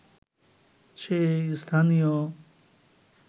সে স্থানীয়